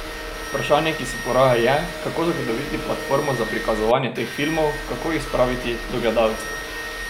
Vprašanje, ki se poraja, je, kako zagotoviti platformo za prikazovanje teh filmov, kako jih spraviti do gledalcev?